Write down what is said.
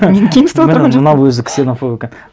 мынау өзі ксенофоб екен